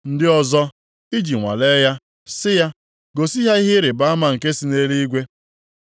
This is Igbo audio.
Ndị ọzọ, iji nwalee ya, sị ya gosi ha ihe ịrịbama nke si nʼeluigwe.